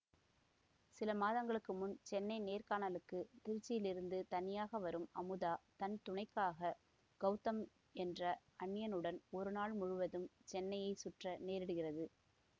சில மாதங்களுக்கு முன் சென்னை நேர்காணலுக்கு திருச்சியிலிருந்து தனியாக வரும் அமுதா தன் துணைக்காக கௌதம் என்ற அந்நியனுடன் ஒரு நாள் முழுவதும் சென்னையை சுற்ற நேரிடுகிறது